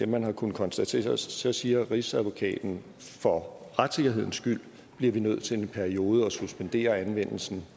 man har kunnet konstatere så siger rigsadvokaten for retssikkerhedens skyld bliver vi nødt til i en periode at suspendere anvendelsen